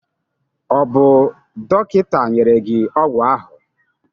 ọ bụ dọkịta nyere gị ọgwụ ahụ?